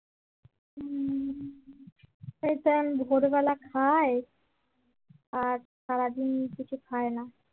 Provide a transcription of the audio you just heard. সে তো এখন ভোরবেলা খায় আর সারাদিন কিছু খায় না